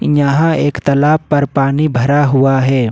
यहां एक तालाब पर पानी भरा हुआ है।